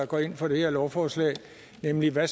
går ind for det her lovforslag nemlig hvad